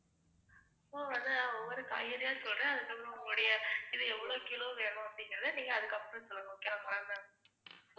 ஓ அது நான் ஒவ்வொரு காய்கறியா சொல்றேன், அதுக்கப்பறம் உங்களுடைய இது எவ்ளோ கிலோ வேணும் அப்படிங்கறத நீங்க அதுக்கப்பறம் சொல்லணும் okay ங்களா ma'am.